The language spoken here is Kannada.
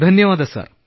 ಧನ್ಯವಾದ ಸರ್